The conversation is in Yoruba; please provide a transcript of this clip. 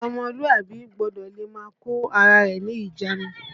Ọmọlúàbí gbọ́dọ̀ le máa kó ara rẹ̀ ní ìjánu